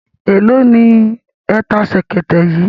Èló ni ẹ ta ṣẹ̀kẹ̀tẹ̀ yìí?